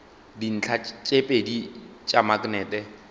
dintlha tše pedi tša maknete